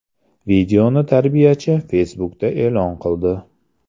Videoni tarbiyachi Facebook’da e’lon qildi.